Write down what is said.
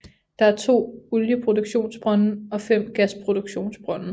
Der er 2 olieproduktionsbrønde og 5 gasproduktionsbrønde